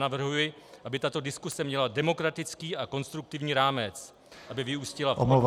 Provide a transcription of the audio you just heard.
Navrhuji, aby tato diskuse měla demokratický a konstruktivní rámec, aby vyústila v odborně -